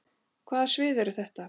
Hvaða svið eru þetta?